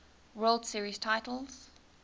world series titles